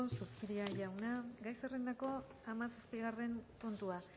zupiria jauna gai zerrendako hamazazpigarren puntua